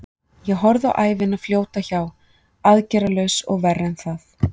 Ég horfði á ævina fljóta hjá, aðgerðarlaus og verra en það.